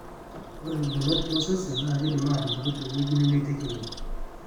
Ore irbolot losesen naa keidim aatupuku teweji nemeitekini